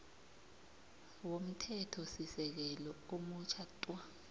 womthethosisekelo omutjha tw